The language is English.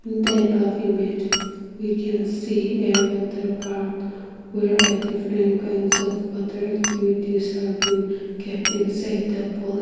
In the above image we can see a water parked where a different kinds of water activities have been kept inside the poll.